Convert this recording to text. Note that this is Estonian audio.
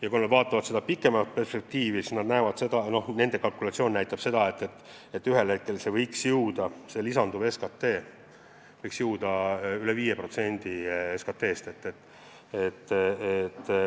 Ja kui nad vaatavad pikemat perspektiivi, siis nende kalkulatsioon näitab seda, et ühel hetkel võiks see lisaraha ületada 5% SKP-st.